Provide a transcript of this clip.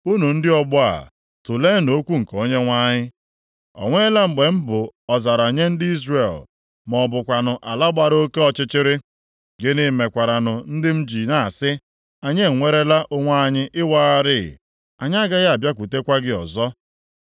“Unu ndị ọgbọ a, tuleenụ okwu nke Onyenwe anyị: “O nweela mgbe m bụ ọzara nye ndị Izrel ma ọ bụkwanụ ala gbara oke ọchịchịrị? Gịnị mekwaranụ ndị m ji na-asị, ‘Anyị enwerela onwe anyị ịwagharị, anyị agaghị abịakwutekwa gị ọzọ’?